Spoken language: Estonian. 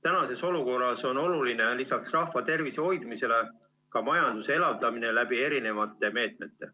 Praeguses olukorras on oluline lisaks rahva tervise hoidmisele ka majanduse elavdamine läbi erinevate meetmete.